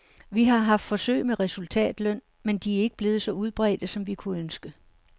Vi har haft forsøg med resultatløn, men de er ikke blevet så udbredte, som vi kunne ønske.